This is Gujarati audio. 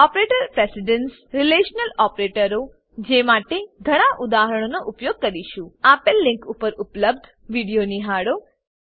ઓપરેટર પ્રેસીડન્સ રીલેશનલ ઓપરેટરો જે માટે ઘણા ઉદાહરણોનો ઉપયોગ કરીશું આપેલ લીંક પર ઉપલબ્ધ વિડીયો નિહાળો